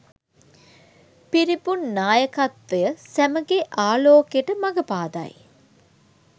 පිරිපුන් නායකත්වය සැමගේ ආලෝකයට මග පාදයි